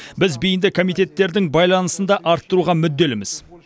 біз бейінді комитеттердің байланысын да арттыруға мүдделіміз